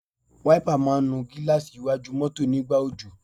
Wáípà máa ń nu gíláàsì iwájú mọ́tọ̀ nígbà òjò.